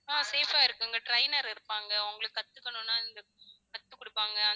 ஆஹ் safe ஆ இருக்குங்க trainer இருப்பாங்க உங்களுக்கு கத்துக்கணும்னா இங்க கத்து குடுப்பாங்க